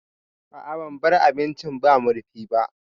A'a ban bar abincin ba murfi ba